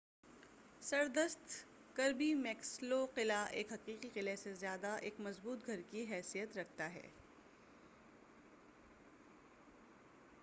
سردست Kirby Muxloe قلعہ ایک حقیقی قلعے سے زیادہ ایک مضبوط گھر کی حیثیت رکھتا ہے